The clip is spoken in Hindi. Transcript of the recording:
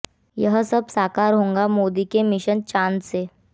यह सब साकार होगा मोदी के मिशन चांद से